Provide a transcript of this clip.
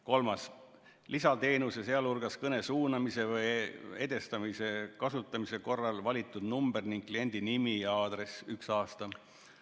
Kolmas, lisateenuse, sh kõne suunamise või edastamise kasutamise korral valitud number ning kliendi nimi ja aadress, üks aasta säilib.